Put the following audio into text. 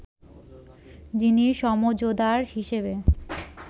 যিনি সমঝদার হিসেবে